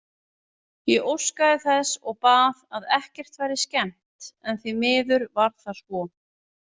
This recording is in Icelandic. Ég óskaði þess og bað að ekkert væri skemmt en því miður var það svo.